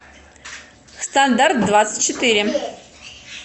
стандарт двадцать четыре